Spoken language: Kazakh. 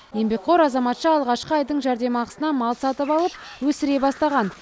еңбекқор азаматша алғашқы айдың жәрдемақысына мал сатып алып өсіре бастаған